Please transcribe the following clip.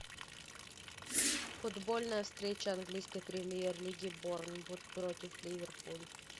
футбольная встреча английской премьер лиги борнмут против ливерпуль